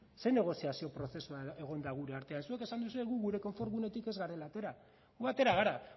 zer negoziazio prozesua egon da gure artean zuk esan duzue guk gure konfort gunetik ez garela atera gu atera gara